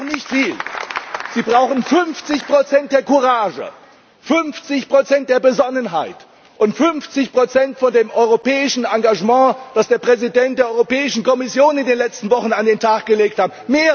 Sie brauchen 50 Prozent der Courage, 50 Prozent der Besonnenheit und 50 Prozent von dem europäischen Engagement, das der Präsident der Europäischen Kommission in den letzten Wochen an den Tag gelegt hat.